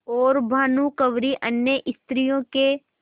और भानुकुँवरि अन्य स्त्रियों के